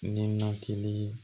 Ninakili